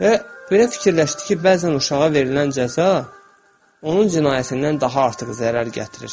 Və belə fikirləşdi ki, bəzən uşağa verilən cəza onun cinayətindən daha artıq zərər gətirir.